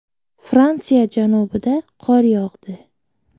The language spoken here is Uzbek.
Fransiya janubida qor yog‘di .